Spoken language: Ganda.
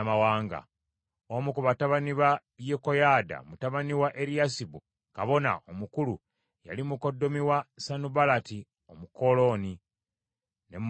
Omu ku batabani ba Yekoyaada, mutabani wa Eriyasibu kabona omukulu yali mukoddomi wa Sanubalaati Omukoloni. Ne mmugoba we ndi.